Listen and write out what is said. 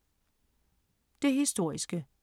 Det historiske